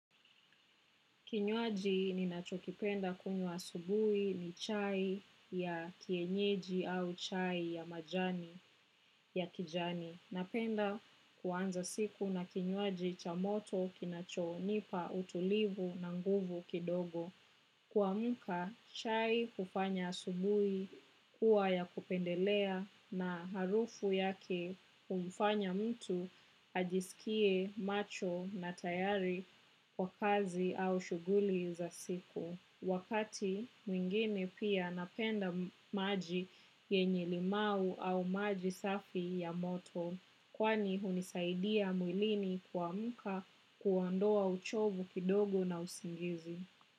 Kinywaji ninacho kipenda kunywa asubuhi ni chai ya kienyeji au chai ya majani ya kijani. Napenda kuanza siku na kinywaji cha moto kinacho nipa utulivu na nguvu kidogo. Kuamuka, chai hufanya asubuhi kuwa ya kupendelea na harufu yake kumufanya mtu hajisikie macho na tayari kwa kazi au shuguli za siku. Wakati, mwingine pia napenda maji yenye limau au maji safi ya moto, kwani hunisaidia mwilini kuamuka kuondoa uchovu kidogo na usingizi.